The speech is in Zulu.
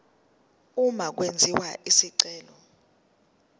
uma kwenziwa isicelo